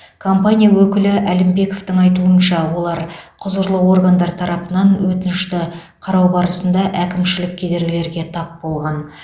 компания өкілі әлімбековтың айтуынша олар құзырлы органдар тарапынан өтінішті қарау барысында әкімшілік кедергілерге тап болған